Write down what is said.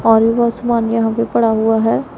और वो सामान यहां पे पड़ा हुआ है।